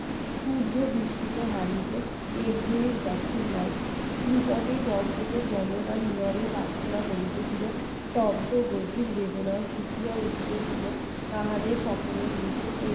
নিকটেই দর্শকেরা প্রার্থনা করিতেছিল স্তব্ধ গভীর বেদনা ফুঁপিয়া তাহাদের সকলের মুখে